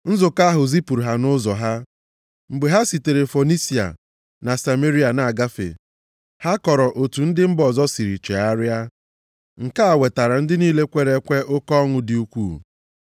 Nzukọ ahụ zipụrụ ha nʼụzọ ha, mgbe ha sitere Fonisia na Sameria na-agafe, ha kọrọ otu ndị mba ọzọ siri chegharịa. Nke a wetara ndị niile kwere ekwe oke ọṅụ dị ukwuu.